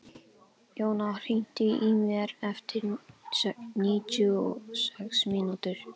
Jóanna, heyrðu í mér eftir níutíu og sex mínútur.